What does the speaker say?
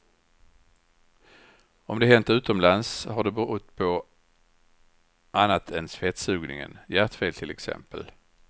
Om det hänt utomlands har det berott på annat än fettsugningen, hjärtfel till exempel.